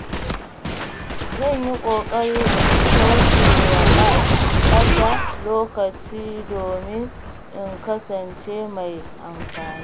Zan yi ƙoƙari in kauce wa ɓata lokaci domin in kasance mai amfani.